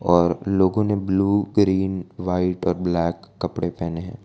और लोगों ने ब्लू ग्रीन वाइट और ब्लैक कपड़े पहने है।